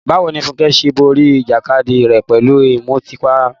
Báwo ni Funke ṣe borí ìjàkadì rẹ̀ pẹ̀lú ìmutípara?